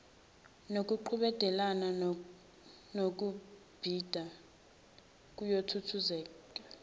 nokuqhudelana ngokubhida kuyokhuthazeka